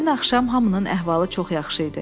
Həmin axşam hamının əhvalı çox yaxşı idi.